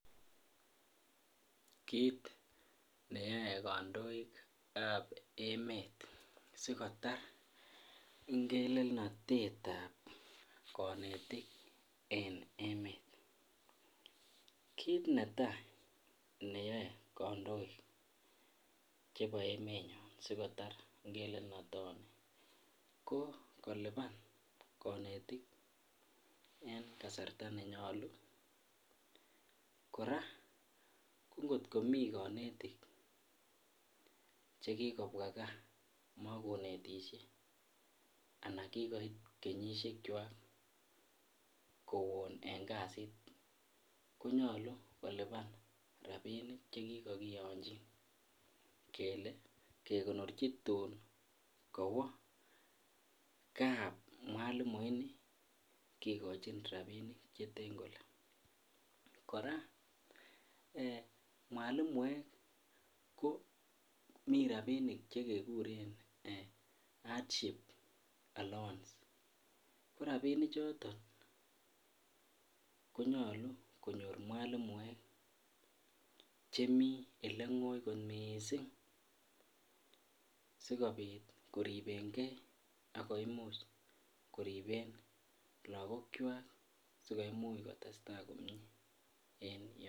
Kiit neyoe kondoikab emet asikotar ngelelnotetab konetik en emet, kiit netaa neyoe kondoik chebo emenyon sikotar ngelelnotoni ko koliban konetik en kasarta nenyolu, koraa ko ngot komii konetik chekikobwa kaa mokonetishe anan kikoit kenyishekwak kowon en kasit konyolu koliban rabinik chekikokiyonchin kelee kekonorchi tuun kowoo kaa mwalimu inii kikochin rabinik cheten kolee, koraa mwalimuek ko mii rabinik chekekuren hardship allowance, ko rabini choton konyolu konyor mwalimuek chemii elengoi kot mising sikobit koribenge ak koimuch koriben lokokwak sikomuch kotesta komnye en yoton.